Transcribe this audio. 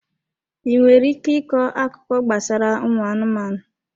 Ị nwere ike ịkọ akụkọ gbasara ụmụ anụmanụ?